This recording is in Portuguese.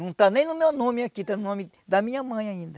Não está nem no meu nome aqui, está no nome da minha mãe ainda.